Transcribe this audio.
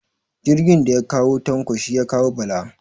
Jirgin daya kawo Tanko shi ya kawo Bala